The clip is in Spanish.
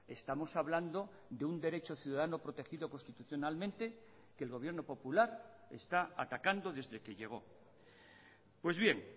estamos hablando de un derecho ciudadano protegido constitucionalmente que el gobierno popular está atacando desde que llegó pues bien